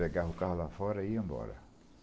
Pegava o carro lá fora e ia embora.